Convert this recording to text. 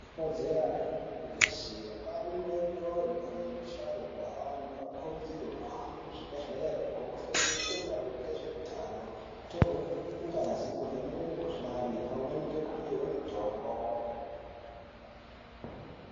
Ikodzero yemuntu wese, angave mudodori kana musharukwa ,antu anokurudzirwe kuhambe muzvibhedhlere, kunofundiswe maringe ngezveutano ,kutorwe ngazi nekuvhenekwe mikhuhlani , pamweni nekupihwe mitombo.